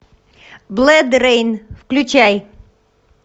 бладрейн включай